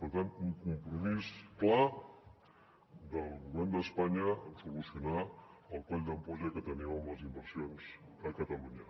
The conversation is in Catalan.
per tant un compromís clar del govern d’espanya amb solucionar el coll d’ampolla que tenim amb les inversions a catalunya